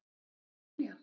Er þetta ekki Biblían?